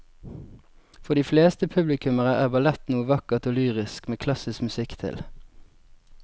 For de fleste publikummere er ballett noe vakkert og lyrisk med klassisk musikk til.